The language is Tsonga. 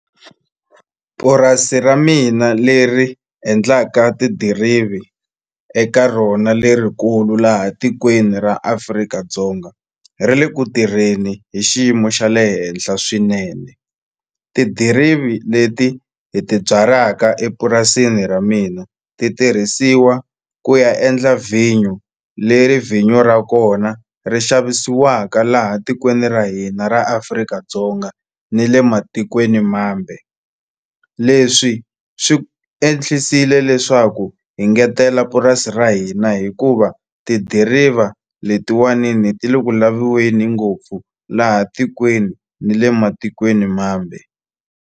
Purasi ra mina leri endlaka tidirivi eka rona lerikulu laha tikweni ra Afrika-Dzonga ri le ku tirheni hi xiyimo xa le henhla swinene tidirivi leti hi ti byalaka epurasini ra mina ti tirhisiwa ku ya endla vhinyo leri vhinyo ra kona ri xavisiwaka laha tikweni ra hina ra Afrika-Dzonga ni le matikweni mambe leswi swi leswaku hi ngetela purasi ra hina hikuva tidiriva letiwani ni ti le ku laviweni ngopfu laha tikweni ni le matikweni mambe.